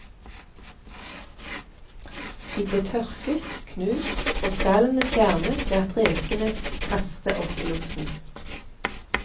De blir tørket, knust og skallene fjernet ved at rekene kaste opp i luften.